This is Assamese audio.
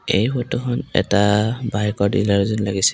এই ফটো খন এটা বাইকৰ ডিলাৰ যেন লাগিছে।